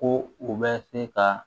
Ko u bɛ se ka